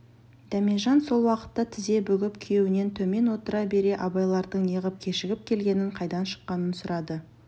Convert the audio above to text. дәмежан сол уақытта тізе бүгіп күйеуінен төмен отыра бере абайлардың неғып кешігіп келгенін қайдан шыққанын сұрады